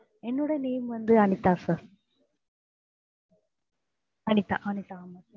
என்னோட name வந்து Anitha sir Anitha